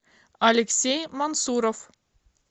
алексей мансуров